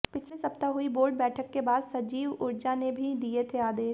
पिछले सप्ताह हुई बोर्ड बैठक के बाद सचिव ऊर्जा ने भी दिए थे आदेश